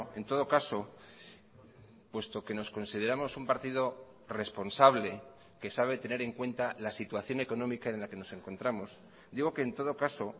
en todo caso puesto que nos consideramos un partido responsable que sabe tener en cuenta la situación económica en la que nos encontramos digo que en todo caso